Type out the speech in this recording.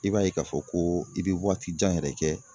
I b'a ye k'a fɔ ko i bɛ waati jan yɛrɛ kɛ